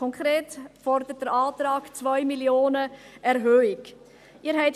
Konkret fordert der Antrag eine Erhöhung um 2 Mio. Franken.